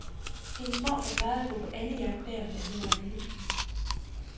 Hendes morfar plejede at gå på andejagt der, da hun var en lille pige.